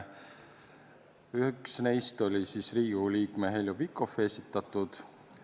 Üks neist oli Riigikogu liikme Heljo Pikhofi esitatud.